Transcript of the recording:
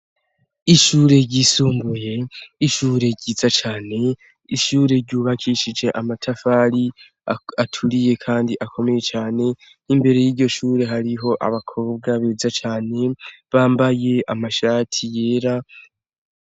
Ishure ryisumbuye ishure ryiza cane ishure ryubakishije amatafari aturiye kandi akomeye cane n'imbere y'iryo shure hariho abakobwa beza cane bambaye amashati yera.